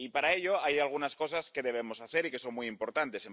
Y para ello hay algunas cosas que debemos hacer y que son muy importantes.